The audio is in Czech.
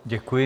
Děkuji.